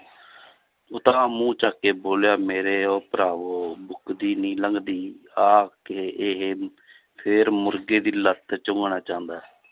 ਉਤਾਂਹ ਮੂੰਹ ਚੁੱਕ ਕੇ ਬੋਲਿਆ ਮੇਰੇ ਉਹ ਭਰਾਵੋ ਮੁਕਦੀ ਨੀ ਲੰਘਦੀ ਆ ਕੇ ਇਹ ਫਿਰ ਮੁਰਗੇ ਦੀ ਲੱਤ ਚਬਾਉਣਾ ਚਾਹੁੰਦਾ ਹੈ l